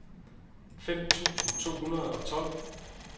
fem tusind to hundrede og tolv